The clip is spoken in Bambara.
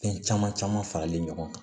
Fɛn caman caman faralen ɲɔgɔn kan